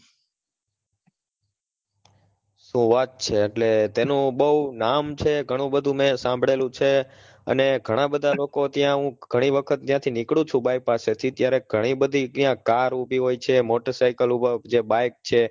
શું વાત છે એટલે તેનું બહુ નામ છે, ઘણું બધું મેં સાંભળેલુ છે અને ઘણા બધા લોકો ત્યાં ઘણી વખત ત્યાં થી નીકળું છુ buy pass થી ત્યારે ગણી બધી ત્યાં car ઉભી હોય છે, મોટર સાયકલ હોય છે bike છે